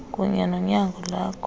kunye nonyango loko